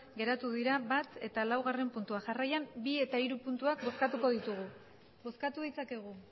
geratu dira batgarrena eta laugarrena puntua jarraian bigarrena eta hirugarrena puntuak bozkatuko ditugu bozkatu ditzakegu